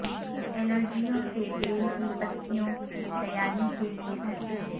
الرجیوں سے بیل کی پتیوں کی تیاری کے لئے ترکیبیں